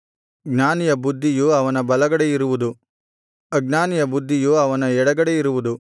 ಜ್ಞಾನಿಯ ಬುದ್ಧಿಯು ಅವನ ಬಲಗಡೆಯಿರುವುದು ಅಜ್ಞಾನಿಯ ಬುದ್ಧಿಯು ಅವನ ಎಡಗಡೆಯಿರುವುದು